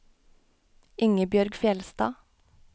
Ingebjørg Fjellstad